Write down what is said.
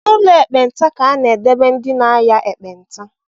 N’ụlọ ndi ekpenta ka a na-edebe ndị na-aya ekpenta